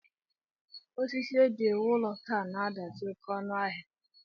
Osisi e ji ewu ụlọ taa na-adazi oké ọnụ ahịa